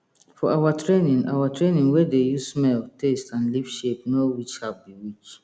for our training our training we dey use smell taste and leaf shape know which herb be which